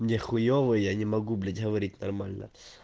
мне хуёво и я не могу блять говорить нормально